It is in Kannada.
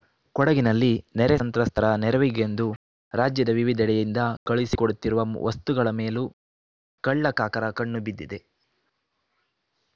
ಕೊಡಗಿನಲ್ಲಿ ನೆರೆಸಂತ್ರಸ್ತರ ನೆರವಿಗೆಂದು ರಾಜ್ಯದ ವಿವಿಧೆಡೆಯಿಂದ ಕಳುಹಿಸಿಕೊಡುತ್ತಿರುವ ವಸ್ತುಗಳ ಮೇಲೂ ಕಳ್ಳಕಾಕರ ಕಣ್ಣು ಬಿದ್ದಿದೆ